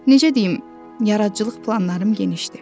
Necə deyim, yaradıcılıq planlarım genişdir.